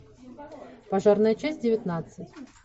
пожарная часть девятнадцать